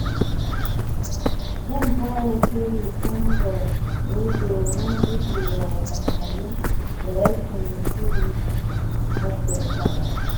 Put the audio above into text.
Zan fara shiri tun da wuri domin gujewa wahalhalun da rashin shiri ke haddasawa.